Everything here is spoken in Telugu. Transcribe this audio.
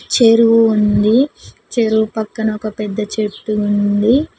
చెరువు ఉంది చెరువు పక్కన ఒక పెద్ద చెట్టు ఉంది.